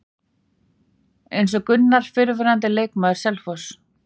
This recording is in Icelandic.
Eins er Gunnar fyrrverandi leikmaður Selfoss.